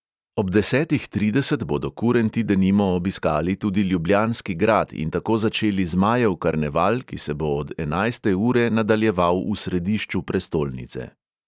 Ob desetih trideset bodo kurenti denimo obiskali tudi ljubljanski grad in tako začeli zmajev karneval, ki se bo od enajste ure nadaljeval v središču prestolnice.